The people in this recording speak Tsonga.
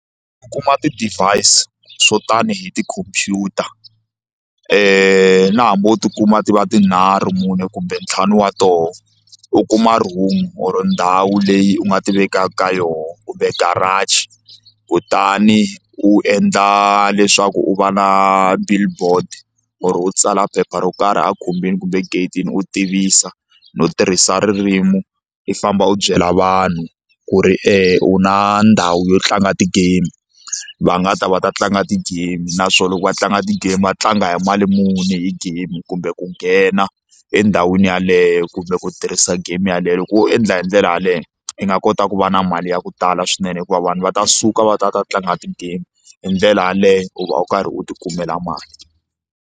U kuma ti-device swo tani hi tikhomphyuta na hambi wo tikuma ti va tinharhu mune kumbe ntlhanu wa tona u kuma room or ndhawu leyi u nga ti vekaka ka yona kumbe garage kutani u endla leswaku u va na billboard or u tsala phepha ro karhi a khumbini kumbe egate-ini u tivisa no tirhisa ririmi i famba u byela vanhu ku ri u na ndhawu yo tlanga ti-game va nga ta va ta tlanga ti-game naswona loko va tlanga ti-game va tlanga hi mali muni hi game kumbe ku nghena endhawini yeleyo kumbe ku tirhisa game yeleyo loko wo endla hindlela yaleyo i nga kota ku va na mali ya ku tala swinene hikuva vanhu va ta suka va ta va ta tlanga ti-game hi ndlela yaleyo u va u karhi u ti kumela mali.